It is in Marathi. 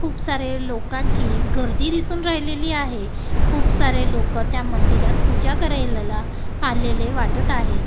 खूप सारे लोकांची गर्दी दिसून राहिलेली आहे खूप सारे लोकं त्या मंदिरात पूजा करायला आलेले वाटत आहेत.